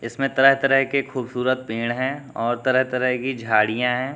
इसमें तरह तरह के खूबसूरत पेड़ हैं और तरह तरह की झाड़ियां हैं।